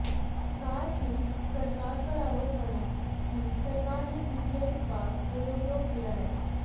साथ ही सरकार पर आरोप मढ़ा कि सरकार ने सीबीआई का दुरुपयोग किया है